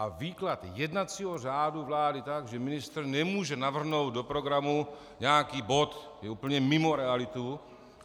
A výklad jednacího řádu vlády tak, že ministr nemůže navrhnout do programu nějaký bod, je úplně mimo realitu.